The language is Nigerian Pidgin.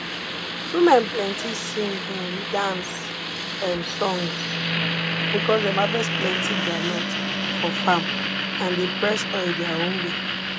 women plenty sing um dance um songs because dem harvest plenti groundnut for farm and dey press oil their own way